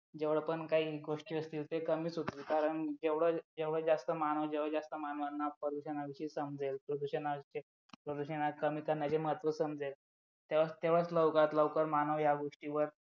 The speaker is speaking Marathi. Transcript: जेवढे पण काही गोष्टी असतील ते कमीच होतील कारण जेवढा जास्त मानव तेवढे जास्त मानव प्रदूषण संपवेल प्रदूषण कमी करण्याचे महत्त्व समजेल तेव्हाच सर्वात लवकरात लवकर मानव या गोष्टीवर